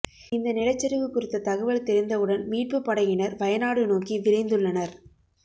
இந்த நிலச்சரிவு குறித்த தகவல் தெரிந்தவுடன் மீட்புப்படையினர் வயநாடு நோக்கி விரைந்துள்ளனர்